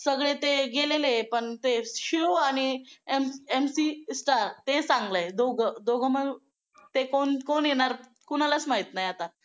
सगळे ते गेलेले पण ते शिव आणि MC ते चांगला आहे दोघं दोघं मग ते कोण कोण येणार कोणालाच माहित नाही आता